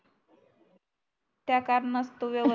त्या कारणात तो व्यवस्त